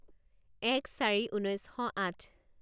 এক চাৰি ঊনৈছ শ আঠ